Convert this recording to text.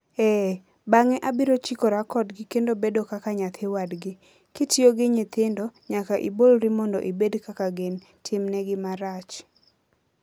Ee, bang'e abiro chikora kodgi kendo bedo kaka nyathi wadgi - ?kitiyo gi nyithindo, nyaka ibolri mondo ibed kaka gin... timnegi marach.